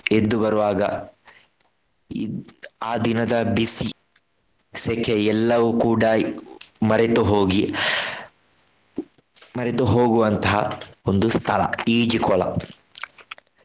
ಎದ್ದು ಬರುವಾಗ ಇದ್~ ಆ ದಿನದ ಬಿಸಿ, ಸೆಕೆ ಎಲ್ಲವೂ ಕೂಡ ಮರೆತು ಹೋಗಿ ಮರೆತು ಹೋಗುವಂತಹ ಒಂದು ಸ್ಥಳ ಈಜುಕೊಳ.